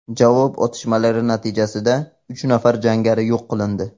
Javob otishmalari natijasida uch nafar jangari yo‘q qilindi.